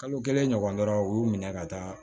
Kalo kelen ɲɔgɔn dɔrɔn u y'u minɛ ka taa